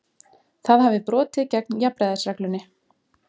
Það hafi brotið gegn jafnræðisreglunni